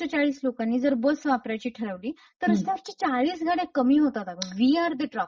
चाळीस लोकांनी जर बस वापरायाची ठरवली तर चाळीस गाड्या कमी होतात अगं. We are the traffic.